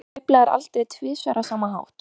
Þú sveiflaðir aldrei tvisvar á sama hátt.